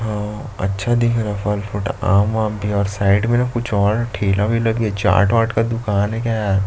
और अच्छा दिख रहा है फल फ्रूट आम वाम भी और साइड में न कुछ और ठेला भी है चाट-वाट का दुकान है क्या यहाँ--